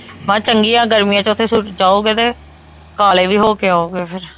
ਹਾਂ ਚੰਗੀਆਂ ਗਰਮੀਆਂ ਚ ਓਥੇ ਜਾਓਗੇ ਤੇ ਕਾਲੇ ਵੀ ਹੋ ਕੇ ਆਓਗੇ ਫੇਰ